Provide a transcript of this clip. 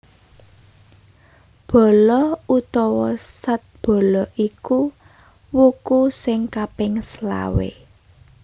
Bala utawa Sadbala iku wuku sing kaping selawé